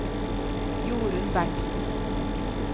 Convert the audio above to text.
Jorunn Berntzen